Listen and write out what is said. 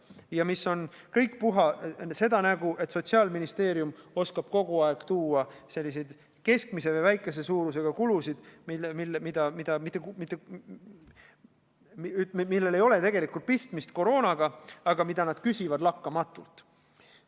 Ja need kõik on puha seda nägu, et Sotsiaalministeerium oskab kogu aeg tuua selliseid keskmise või väikese suurusega kulusid, millel tegelikult ei ole koroonaga pistmist, aga mida nad küsivad lakkamatult.